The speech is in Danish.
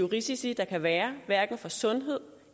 risici der kan være for sundhed